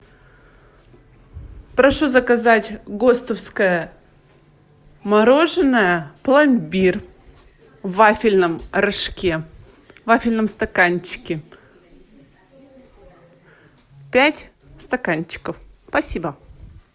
прошу заказать гостовское мороженое пломбир в вафельном рожке в вафельном стаканчике пять стаканчиков спасибо